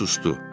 O susdu.